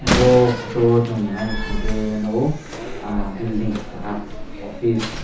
bo photo o song nai naisingke nogo ah bilding keha office.